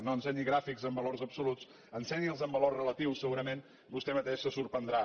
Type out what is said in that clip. no ensenyi gràfics amb valors absoluts en·senyi’ls amb valors relatius segurament vostè mateix se sorprendrà